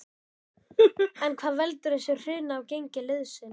En hvað veldur þessu hruni á gengi liðsins?